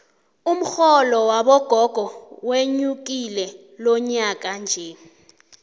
umxholo wabogogo wenyukile lonyakanje